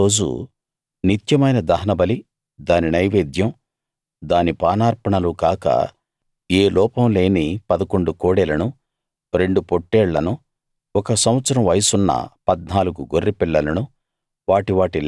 మూడో రోజు నిత్యమైన దహనబలి దాని నైవేద్యం దాని పానార్పణలు కాక ఏ లోపం లేని 11 కోడెలను రెండు పొట్టేళ్లను ఒక సంవత్సరం వయసున్న 14 గొర్రెపిల్లలను